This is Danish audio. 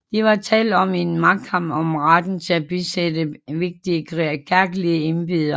Der var tale om en magtkamp om retten til at besætte vigtige kirkelige embeder